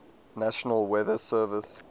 national weather service